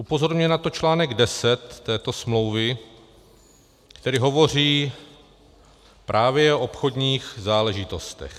Upozorňuje na to článek 10 této smlouvy, který hovoří právě o obchodních záležitostech.